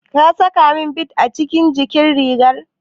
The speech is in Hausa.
Ka sakamin bid a jikin rigar?